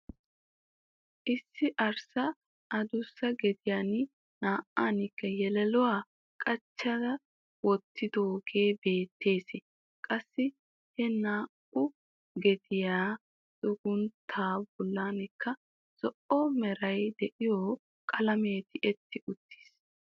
Issi arssa adussa gediyan naa"ankka yelelluwa qachchi wottidoogee beettees. Qassi he naa"u gediya xugunttaa bollankka zo'o meray de'iyo qalamee tiyetti uttiis.